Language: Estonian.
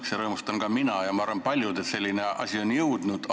Ka mina rõõmustan ja arvan, et paljud rõõmustavad, et selline asi on siia jõudnud.